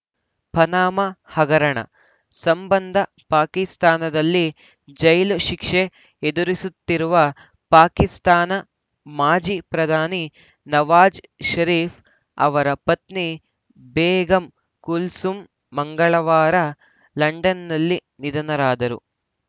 ಪನಾಮಾ ಹಗರಣ ಸಂಬಂಧ ಪಾಕಿಸ್ತಾನದಲ್ಲಿ ಜೈಲು ಶಿಕ್ಷೆ ಎದುರಿಸುತ್ತಿರುವ ಪಾಕಿಸ್ತಾನ ಮಾಜಿ ಪ್ರಧಾನಿ ನವಾಜ್‌ ಷರೀಫ್‌ ಅವರ ಪತ್ನಿ ಬೇಗಂ ಕುಲ್ಸೂಮ್‌ ಮಂಗಳವಾರ ಲಂಡನ್‌ನಲ್ಲಿ ನಿಧನರಾದರು